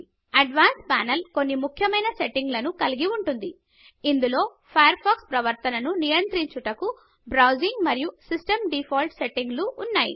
advanced panel కొన్ని ముఖ్యమైన సెట్టింగులను కలిగి ఉంటుంది ఇందులో ఫయర్ ఫాక్స్ ప్రవర్తన ను నియంత్రించుటకు బ్రౌజింగ్ మరియు సిస్టం డీఫాల్ట్ సెట్టింగులు ఉన్నాయి